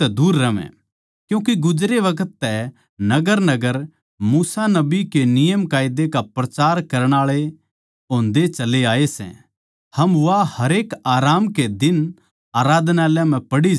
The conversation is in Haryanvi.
क्यूँके गुजरे बखत तै नगरनगर मूसा नबी के नियमकायदे का प्रचार करण आळे होंदे चले आये सै अर वा हरेक आराम कै दिन आराधनालय म्ह पढ़ी जावै सै